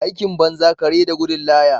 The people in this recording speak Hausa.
Aikin banza kare da gudun laya.